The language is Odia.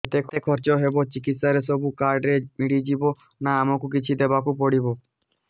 ଯେତେ ଖର୍ଚ ହେବ ଚିକିତ୍ସା ରେ ସବୁ କାର୍ଡ ରେ ମିଳିଯିବ ନା ଆମକୁ ବି କିଛି ଦବାକୁ ପଡିବ